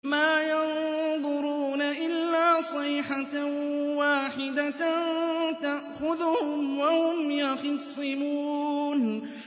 مَا يَنظُرُونَ إِلَّا صَيْحَةً وَاحِدَةً تَأْخُذُهُمْ وَهُمْ يَخِصِّمُونَ